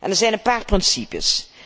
Er zijn een paar principes.